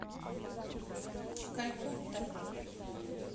калькутта